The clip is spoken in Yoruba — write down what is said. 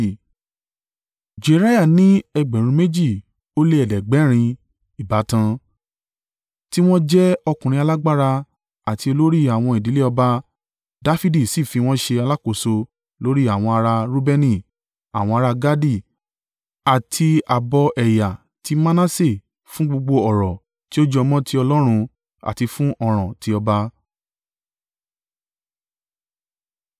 Jeriah ní ẹgbẹ̀rún méjì ó lé ẹ̀ẹ́dẹ́gbẹ̀rin (2,700) ìbátan, tí wọn jẹ́ ọkùnrin alágbára àti olórí àwọn ìdílé ọba Dafidi sì fi wọ́n ṣe àkóso lórí àwọn ará Reubeni àwọn ará Gadi àti ààbọ̀ ẹ̀yà ti Manase fún gbogbo ọ̀rọ̀ tí ó jọ mọ́ ti Ọlọ́run àti fún ọ̀ràn ti ọba.